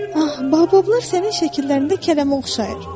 Aa, baobablar sənin şəkillərində kələmə oxşayır.